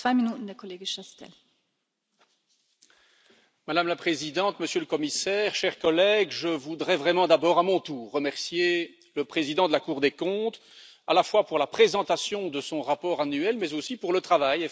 Madame la Présidente, Monsieur le Commissaire, chers collègues, je voudrais vraiment d'abord, à mon tour, remercier le président de la Cour des comptes, à la fois pour la présentation de son rapport annuel, mais aussi pour le travail effectué par l'ensemble de ses services.